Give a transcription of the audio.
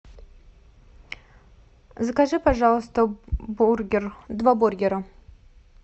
закажи пожалуйста бургер два бургера